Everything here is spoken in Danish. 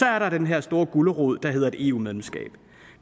er der den her store gulerod der hedder et eu medlemskab